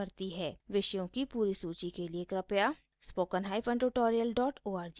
विषयों की पूरी सूची के लिए कृपया